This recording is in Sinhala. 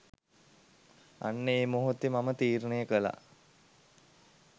අන්න ඒ මොහොතේ මම තීරණය කළා